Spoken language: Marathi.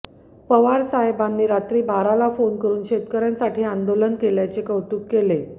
पवार साहेबांनी रात्री बाराला फोन करुन शेतकऱयांसाठी आंदोलन केल्याचे कौतुक केले